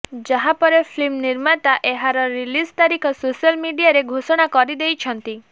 ଯାହାପରେ ଫିଲ୍ମ ନିର୍ମାତା ଏହାର ରିଲିଜ୍ ତାରିଖ ସୋଶିଆଲ ମିଡିଆରେ ଘୋଷଣା କରିଦେଇଛନ୍ତି